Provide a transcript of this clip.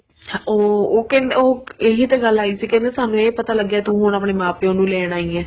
ਉਹ ਕਹਿੰਦੇ ਉਹ ਇਹੀ ਤਾਂ ਗੱਲ ਆਈ ਸੀ ਕੀ ਸਾਨੂੰ ਇਹ ਪਤਾ ਲੱਗਿਆ ਕੀ ਤੂੰ ਆਪਣੇ ਮਾਂ ਪਿਉ ਨੂੰ ਲੈਣ ਆਈ ਏ